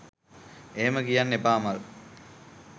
එහෙම කියන්න එපා අමල්